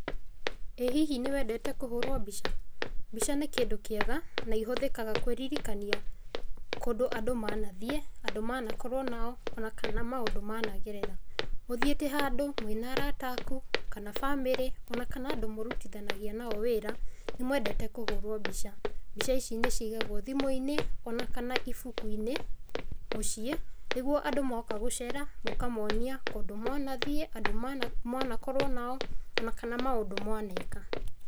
Ĩĩ hihi nĩ wendete kuhũrwo mbica? Mbica nĩ kĩndũ kĩega na ihũthĩkaga kwĩririkania kũndũ andũ manathiĩ, andũ manakorwo nao, o na kana maũndu managerera. Ũthiĩte handũ mwĩna arata aku, kana bamĩrĩ, o na kana andũ mũrutithanagia nao wĩra , nĩmwendete kũhũrwo mbica. Mbica ici nĩciigagwo thimũ-inĩ, o na kana ibuku-inĩ mũciĩ, nĩguo andũ mooka gũcera mũkamonia kũndũ mwanathiĩ, andũ mwanakorwo nao, o na kana maũndũ mwaneka.